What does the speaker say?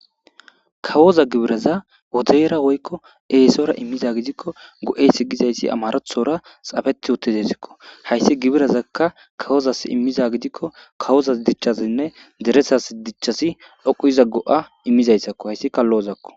Kawoza gibiraza wodeera woykko eesora immiza gidikko go'e si gizaysi amarethora xafeti wotidesikko hayssi gibirazakka kawozas immiza gidikko kawoza dichchazinne deresas dichchasi dhoqu iza go7a immizayssakko hayssikallo7ozakko.